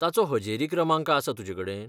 ताचो हजेरी क्रमांक आसा तुजेकडेन?